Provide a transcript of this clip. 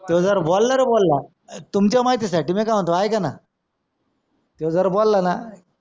तो जर बोला रे बोला तुमच्या माहिती साठी म्या काय म्हणतो ऐकाना त्यो जर बोला ना